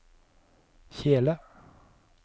kjele